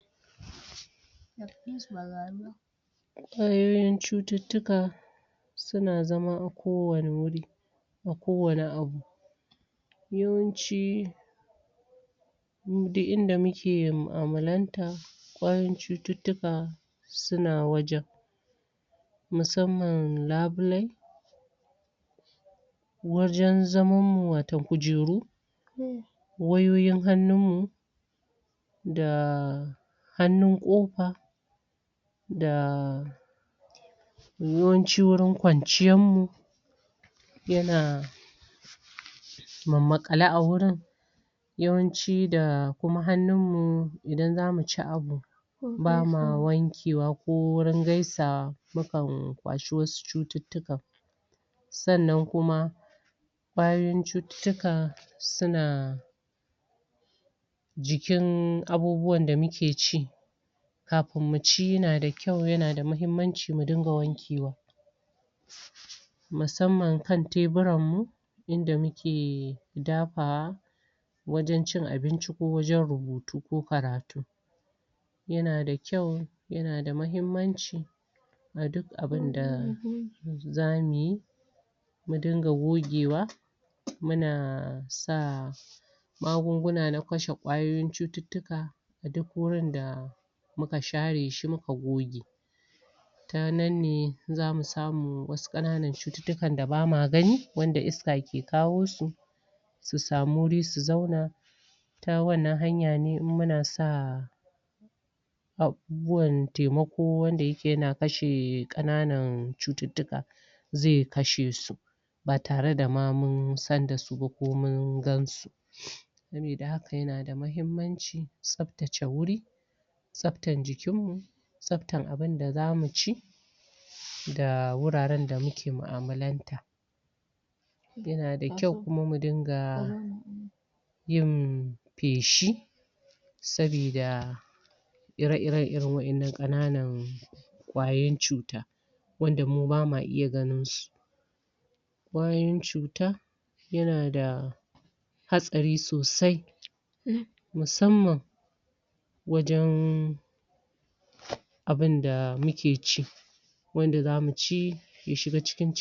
Wadannan cuttutuka Suna zama kowane wuri A kowane abu Yawanci wurin duk inda muke mu'amulanta Kwayoyin cuttutuka Suna wajen Musamman labulai Wajen zaman mu wato kujeru Wayoyin hannun mu Da Hannun kofa Da Yawanci warin kwanciyar mu Yana Makale a wurin Yawanci da kuma hannunmu idan zamu ci abu, Baka wanke wa ko wurin gaisa wa mukan kwashi wasu cuttutukan Sannan kuma Bayan cuttutuka Suna.. Jikin abubuwan da muke ci Kafin mu ci yana da kwau yana da mahimmanci mu dinga wanke wa Musamman kan teburan mu Inda muke Dafawa Wajen cin abinci ko rubutu ko karatu Yana da kwau Yana da mahimmanci A duk abinda Zamuyi Mu dinga gogewa Muna sa Magunguna na kashe kwayoyin cuttutuka A duk wurin da Muka share shi kuma goge Ta nan ne zamu samu Wasu kananan cuttutukan da bama gani Wanda iska ke kawo su Su samu wuri su zauna Ta wannnan hanya ne in munasa Abubuwan taimako wanda yake yana kashe kananan cuttutuka zai kashe su Ba tare da munsan dasu ba ko mun gansu Sabida haka yana da mahimmanci tsaftace wuri Tsaftar jikin mu Tsaftar abunda zamu ci Da wuraren da muke mu'amulanta Yana da kwau kuma mu dinga Yin.. Feshi Sabida Ire-ire wadannan kananan kwayoyin cuta Wanda mu bama iya ganin su kwayoyin Cuta Yana da Hatsari sosai Musamman Wajen... Abunda muke ci. Wanda zamu ci Ya shiga cikin cikin mu